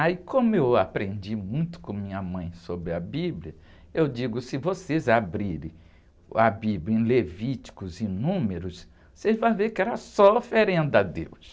Aí, como eu aprendi muito com minha mãe sobre a Bíblia, eu digo, se vocês abrirem a Bíblia em Levíticos e Números, vocês vão ver que era só oferenda a Deus.